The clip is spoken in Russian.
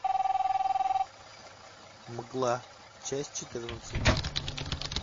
мгла часть четырнадцать